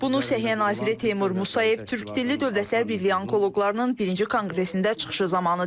Bunu Səhiyyə naziri Teymur Musayev Türkdilli Dövlətlər Birliyi Onkoloqlarının birinci konqresində çıxışı zamanı deyib.